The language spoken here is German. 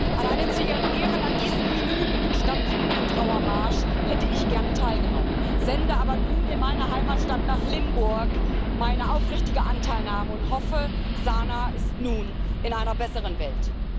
An einem zu ihren Ehren in diesen Minuten stattfindenden Trauermarsch hätte ich gerne teilgenommen, sende aber nun in meine Heimatstadt, nach Limburg, meine aufrichtige Anteilnahme und hoffe, Sana ist nun in einer besseren Welt.